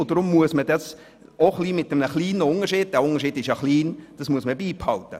Deshalb muss man den kleinen Unterschied beibehalten.